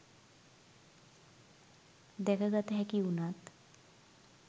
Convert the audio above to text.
දැකගත හැකි වුනත්